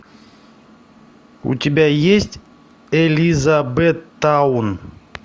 у тебя есть элизабеттаун